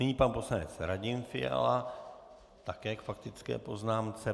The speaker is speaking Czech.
Nyní pan poslanec Radim Fiala také k faktické poznámce.